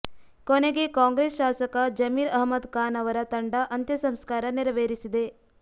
ಕೊನೆಗೆ ಕಾಂಗ್ರೆಸ್ ಶಾಸಕ ಜಮಿರ್ ಅಹ್ಮದ್ ಖಾನ್ ಅವರ ತಂಡ ಅಂತ್ಯ ಸಂಸ್ಕಾರ ನೆರವೇರಿಸಿದೆ